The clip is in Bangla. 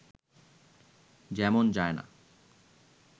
যেমন যায়না